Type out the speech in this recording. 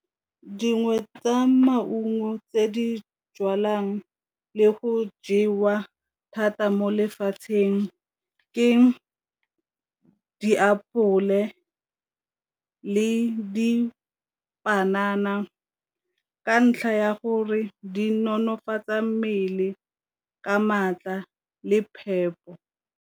Dingwe tsa maungo tse di jwalwang le go jewa thata mo lefatsheng ke ditapole le panana, ka ntlha ya gore di nonofatsa mmele ka maatla le phepo.